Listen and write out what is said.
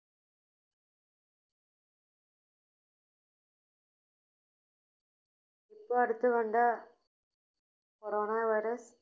ഇപ്പൊ അടുത്ത് കണ്ട Corona Virus